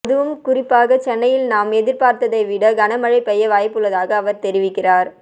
அதுவும் குறிப்பாக சென்னையில் நாம் எதிர்பார்ப்பதைவிட கனமழை பெய்ய வாய்ப்புள்ளதாக அவர் தெரிவிக்கிறார்